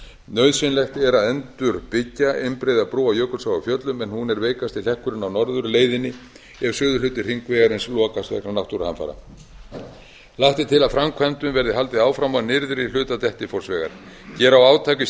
nauðsynlegt er að endurbyggja einbreiða brú yfir jökulsá á fjöllum en hún er veikasti hlekkurinn á norðurleiðinni ef suðurhluti hringvegarins lokast vegna náttúruhamfara lagt er til að framkvæmdum verði haldið áfram á nyrðri hluta dettifossvegar gera á átak í